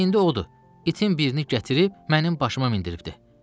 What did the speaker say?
İndi odur, itin birini gətirib mənim başıma mindiribdi.